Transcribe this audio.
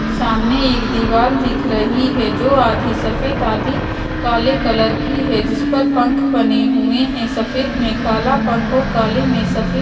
सामने एक दीवाल दिख रही है जो आधी सफेद आधी काले कलर की है जिस पर पंख बने हुऐं हें सफेद में काला पंख और काले में सपे --